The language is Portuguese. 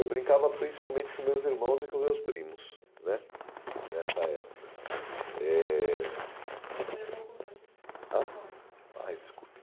Eu brincava principalmente com meus irmãos e com meus primos né Nessa época, eh ai, desculpe